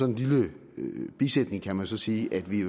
en lille bisætning kan man så sige at vi